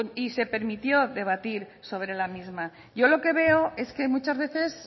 y se permitió debatir sobre la misma yo lo que veo es que muchas veces